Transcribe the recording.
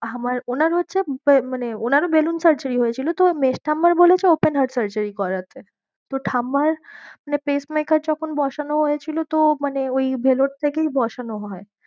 আমার ওনার হচ্ছে মানে ওনার ও balloon surgery হয়েছিল। তো মেজ ঠাম্মার বলেছে open heart surgery করাতে। তো ঠাম্মার মানে pacemaker যখন বসানো হয়েছিল তো মানে ওই Vellore থেকেই বসানো হয়।